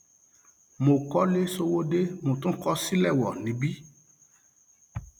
mo kọlé sọwọde mo tún kọ sìléwọ níbí